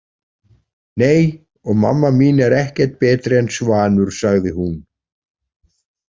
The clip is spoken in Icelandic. Nei, og mamma mín er ekkert betri en Svanur, sagði hún.